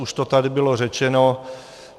Už to tady bylo řečeno.